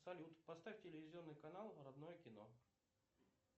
салют поставь телевизионный канал родное кино